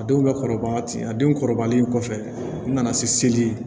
A denw ka kɔrɔbaya ten a denw kɔrɔbayalen kɔfɛ n nana seli